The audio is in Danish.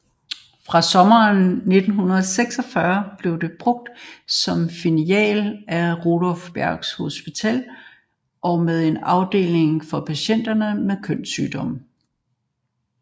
Fra sommeren 1946 blev det brugt som filial af Rudolph Berghs Hospital med en afdeling for patienter med kønssygdomme